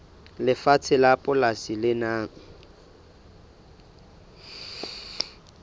lefatshe la polasi le nang